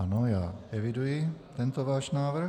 Ano, já eviduji tento váš návrh.